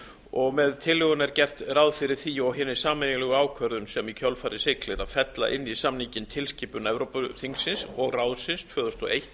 og með tillögunni er gert ráð fyrir því og hinni sameiginlegu ákvörðun sem í kjölfarið siglir að fella inn í samninginn tilskipun evrópuþingsins og ráðsins tvö þúsund og eitt